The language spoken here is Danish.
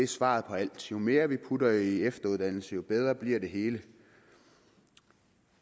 svaret på alt jo mere vi putter i efteruddannelse jo bedre bliver det hele